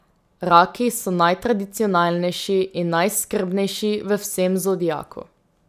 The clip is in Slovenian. Raki so najtradicionalnejši in najskrbnejši v vsem zodiaku.